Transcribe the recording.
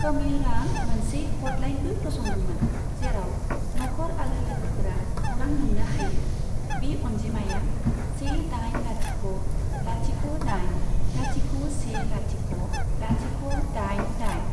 कमेयरा मोनसे हटलाइनबो फसंदोंमोन, जेराव नखर आरो लोगोफोरा खौरां मोननो हायो, बे अनजिमाया से दाइन लाथिख' लाथिख'दाइन लाथिख' से लाथिख' लाथिख' दाइन दाइन।